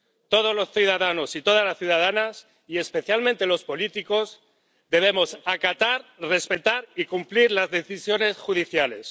Todos los ciudadanos y todas las ciudadanas —y especialmente los políticos— debemos acatar, respetar y cumplir las decisiones judiciales.